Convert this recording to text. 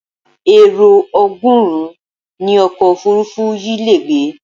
Èrò ọgọ́rùn-ún ni ọkọ̀ òfuurufú yìí le gbé.